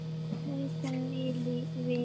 Haukum í vil.